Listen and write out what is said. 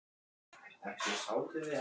Gat hugsast að hér væru einhver svik í tafli?